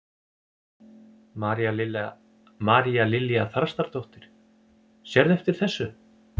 María Lilja Þrastardóttir: Sérðu eftir þessu?